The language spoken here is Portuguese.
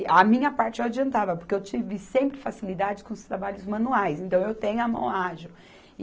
A minha parte eu adiantava, porque eu tive sempre facilidade com os trabalhos manuais, então eu tenho a mão ágil.